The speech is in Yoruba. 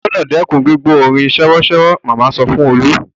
O gbúdọ̀ dẹ́kun gbígbọ́ orin sèwọ́sèwọ́! màmá sọ fún Olú.